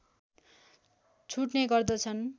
छुट्ने गर्दछन्